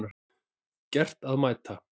Gert að mæta